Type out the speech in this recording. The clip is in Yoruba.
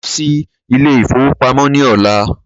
Màá lọ sí Ilé-ìfowópamó ní ọ̀la